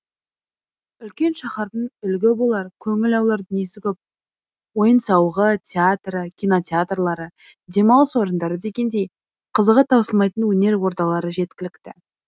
үлкен шаһардың үлгі болар көңіл аулар дүниесі көп ойын сауығы театры кинотеатрлары демалыс орындары дегендей қызығы таусылмайтын өнер ордалары жеткілікті